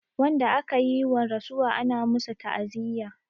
Wanda akayi wa rasuwa ana masu ta'aziya